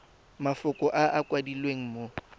mafoko a a kwadilweng mo